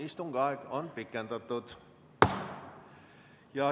Istungi aeg on pikendatud.